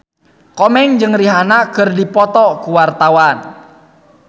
Komeng jeung Rihanna keur dipoto ku wartawan